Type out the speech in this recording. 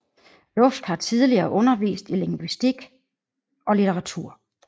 Luft har tidligere undervist i lingvistik og litteratur